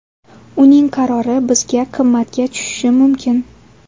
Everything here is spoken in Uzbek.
Uning qarori bizga qimmatga tushishi mumkin.